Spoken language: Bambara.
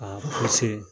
A